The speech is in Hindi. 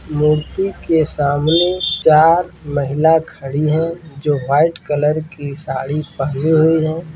मूर्ति के सामने चार महिला खड़ी है जो व्हाइट कलर की साड़ी पहनी हुई हैं।